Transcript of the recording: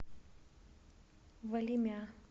валимя